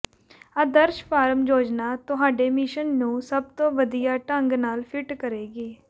ਆਦਰਸ਼ farm ਯੋਜਨਾ ਤੁਹਾਡੇ mission ਨੂੰ ਸਭ ਤੋਂ ਵਧੀਆ ਢੰਗ ਨਾਲ ਫਿੱਟ ਕਰੇਗੀ